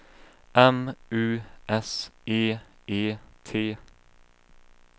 M U S E E T